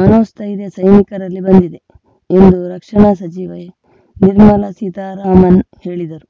ಮನೋಸ್ಥೈರ್ಯ ಸೈನಿಕರಲ್ಲಿ ಬಂದಿದೆ ಎಂದು ರಕ್ಷಣಾ ಸಚಿವೆ ನಿರ್ಮಲಾ ಸೀತಾರಾಮನ್‌ ಹೇಳಿದರು